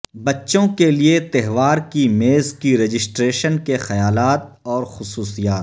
بچوں کے لئے تہوار کی میز کی رجسٹریشن کے خیالات اور خصوصیات